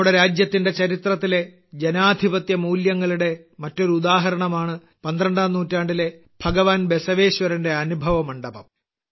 നമ്മുടെ രാജ്യത്തിന്റെ ചരിത്രത്തിലെ ജനാധിപത്യമൂല്യങ്ങളുടെ മറ്റൊരു ഉദാഹരണമാണ് 12ാം നൂറ്റാണ്ടിലെ ഭഗവാൻ ബസവേശ്വരന്റെ അനുഭവ മണ്ഡപം